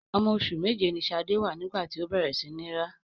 Ọmọ oṣù méje ni Ṣadé wà nígbà tí ó bẹ̀rẹ̀ sí ní rá.